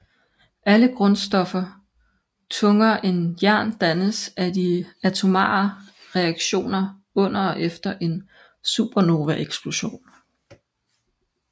Alle grundstoffer tungere end jern dannes af de atomare reaktioner under og efter en supernovaeksplosion